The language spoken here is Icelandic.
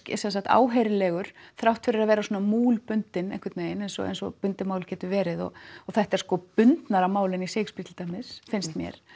áheyrilegur þrátt fyrir að vera svona múlbundinn eins og eins og bundið mál getur verið og þetta er sko bundnara mál heldur en í Shakespeare til dæmis finnst mér